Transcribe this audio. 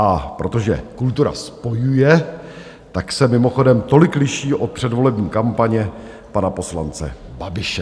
A protože kultura spojuje, tak se mimochodem tolik liší od předvolební kampaně pana poslance Babiše.